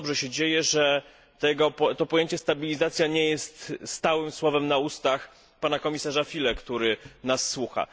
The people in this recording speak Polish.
Bardzo dobrze się dzieje, że to pojęcie stabilizacja nie jest stałym słowem na ustach pana komisarza Füle, który nas słucha.